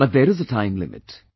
But there is a time limit